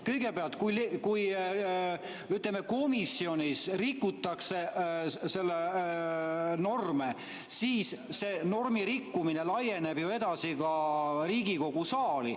Kõigepealt, kui, ütleme, komisjonis rikutakse norme, siis see normi rikkumine laieneb ju edasi ka Riigikogu saali.